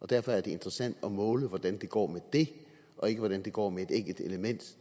derfor er interessant at måle hvordan det går med det og ikke hvordan det går med et enkelt element